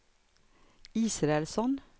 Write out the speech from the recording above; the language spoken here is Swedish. Israelsson